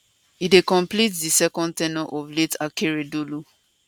e dey complete di second term ten ure of late akeredolu